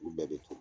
Olu bɛɛ bɛ ta